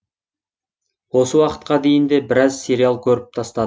осы уақытқа дейін де біраз сериал көріп